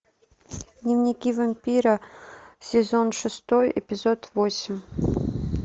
дневники вампира сезон шестой эпизод восемь